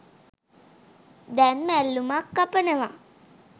දැන් මැල්ලුමක් කපනවා.